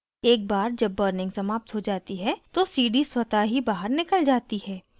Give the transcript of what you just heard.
एक बार जब burning समाप्त हो जाती है तो cd स्वतः ही बाहर निकल जाती है